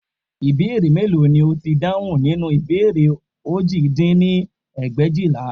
Ìbéèrè mélòó ni ó ti dáhùn nínú ìbéèrè òjì dín ní ẹgbẹ̀éjìlá